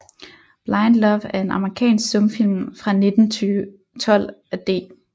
Blind Love er en amerikansk stumfilm fra 1912 af D